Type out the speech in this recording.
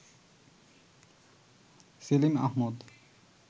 Selim Ahmad